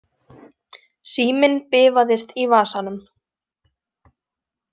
Síminn bifaðist í vasanum.